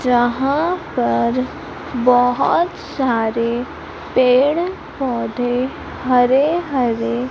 जहां पर बहोत सारे पेड़ पौधे हरे हरे--